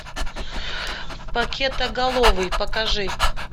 пакетоголовый покажи